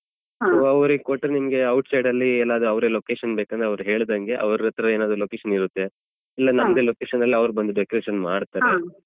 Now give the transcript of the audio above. ಅವ್ರಿಗೆ ಕೊಟ್ರೆ ನಿಮ್ಗೆ outside ಅಲ್ಲಿ ಎಲ್ಲದೂ ಅವ್ರೆ location ಬೇಕಾದ್ರೆ ಅವ್ರ್ ಹೇಳಿದಂಗೆ ಅವ್ರತ್ರ ಏನಾದ್ರೂ location ಇರುತ್ತೆ ಇಲ್ಲ ನಮ್ದೆ location ಅಲ್ಲಿ ಅವ್ರ್ ಬಂದು decoration ಮಾಡ್ತಾರೆ.